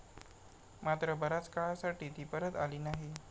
मात्र बराच काळासाठी ती परत आली नाही.